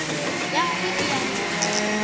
ya gagwe ke ya lebelwana